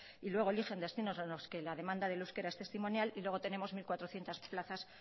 y luego eligen destinos en los que la demanda del euskera es testimonial y luego tenemos mil cuatrocientos plazas